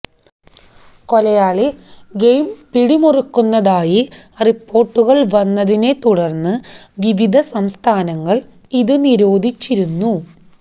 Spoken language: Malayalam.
കൊലയാളി ഗെയിം പിടിമുറുക്കുന്നതായി റിപ്പോർട്ടുകൾ വന്നതിനെ തുടർന്ന് വിവിധ സംസ്ഥാനങ്ങൾ ഇതു നിരോധിച്ചിരുന്നു